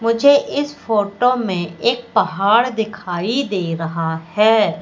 मुझे इस फोटो में एक पहाड़ दिखाई दे रहा है।